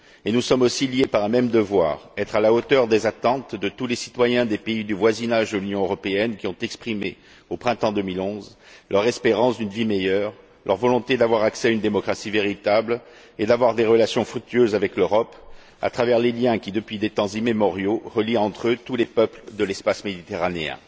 Nous sommes aussi liés par un même devoir être à la hauteur des attentes de tous les citoyens des pays du voisinage de l'Union européenne qui ont exprimé, au printemps 2011, leur espérance d'une vie meilleure, leur volonté d'avoir accès à une démocratie véritable et d'avoir des relations fructueuses avec l'Europe, à travers les liens qui, depuis des temps immémoriaux, relient entre eux tous les peuples de l'espace méditerranéen.